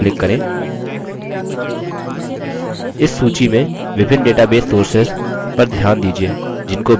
इस सूची में विभिन्न database sources database sources/sources पर ध्यान दीजिये जिनको base access कर सकता है